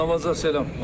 Namazda salam.